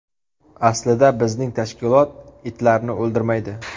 Aslida bizning tashkilot itlarni o‘ldirmaydi.